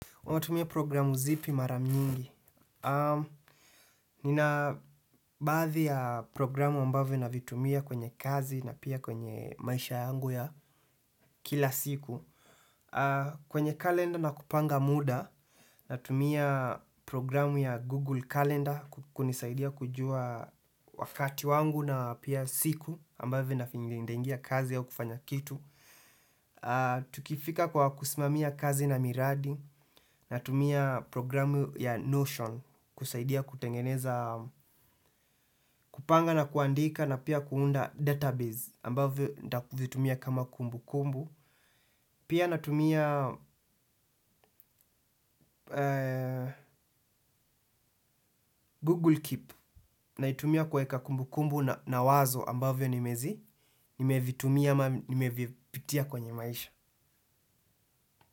Unatumia programu zipi mara nyingi? Nina baadhi ya programu ambavyo navitumia kwenye kazi na pia kwenye maisha yangu ya kila siku. Kwenye kalenda na kupanga muda natumia programu ya Google Calendar kunisaidia kujua wakati wangu na pia siku ambavyo nataingia kazi ya kufanya kitu. Tukifika kwa kusimamia kazi na miradi natumia programu ya Notion. Kusaidia kutengeneza kupanga na kuandika na pia kuunda database ambavyo nitavitumia kama kumbu kumbu. Pia natumia Google Keep naitumia kueka kumbukumbu na wazo ambavyo nimezi. Nimevitumia ama nimevipitia kwenye maisha.